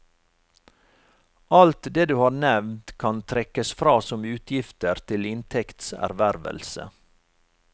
Alt det du har nevnt kan trekkes fra som utgifter til inntekts ervervelse.